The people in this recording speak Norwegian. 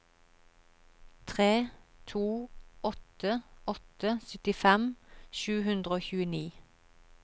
tre to åtte åtte syttifem sju hundre og tjueni